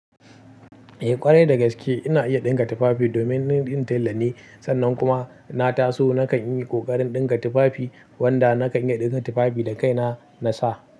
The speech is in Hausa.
Eh ƙwarai da gaske ina iya ɗinka tufafi domin ni ɗin talla ne. Sannan kuma na taso nakan yi ƙoƙarin ɗinka tufafi wanda nakan iya ɗinka tufafi da kaina na sa.